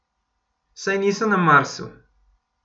Saj niso na Marsu.